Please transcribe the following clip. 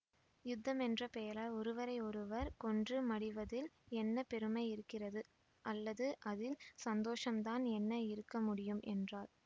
யுத்தம் என்ற பெயரால் ஒருவரையொருவர் கொன்று மடிவதில் என்ன பெருமை இருக்கிறது அல்லது அதில் சந்தோஷந்தான் என்ன இருக்க முடியும் என்றாள்